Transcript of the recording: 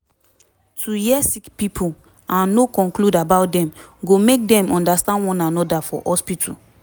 to hear sick pipo and no conclude about dem go make dem understand one anoda for hospitu